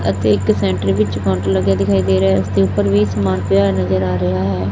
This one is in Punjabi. ਅਤੇ ਇੱਕ ਸੈਂਟਰ ਵਿੱਚ ਕਾਊਂਟਰ ਲੱਗਿਆ ਦਿਖਾਈ ਦੇ ਰਿਹਾ ਐ ਉਸਦੇ ਉੱਪਰ ਵੀ ਸਮਾਨ ਪਿਆ ਨਜ਼ਰ ਆ ਰਿਹਾ ਐ।